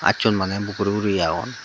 acchun maney bugguri guri agon.